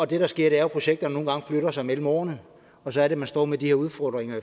det der sker er jo at projekterne nogle gange flytter sig mellem årene og så er det man står med de her udfordringer